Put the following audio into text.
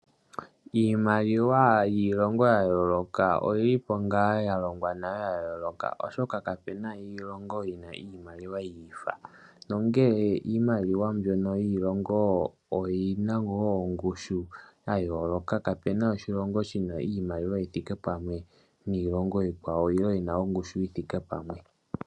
Iimaliwa yiilongo yayoloka oyili po nga ya longwa nale yayoloka. Oshoka kapena iilongo yina iimaliwa yiifa. Nongele iimaliwa mbyono yiilingo oyina wo ongushu yayoloka. Kapena oshilongo shina iimaliwa yi thike pamwe niilongo iikwawo nenge yina ongushu yithike pamwe.